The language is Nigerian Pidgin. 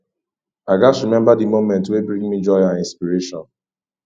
i gats remember the moments wey bring me joy and inspiration